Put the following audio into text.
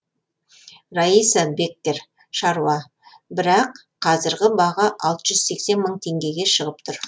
раиса беккер шаруа бірақ қазіргі баға алты жүз сексен мың теңгеге шығып тұр